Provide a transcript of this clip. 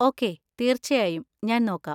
Okay, തീർച്ചയായും, ഞാൻ നോക്കാം.